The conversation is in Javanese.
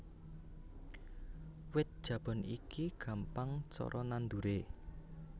Wit Jabon iki gampang cara nanduré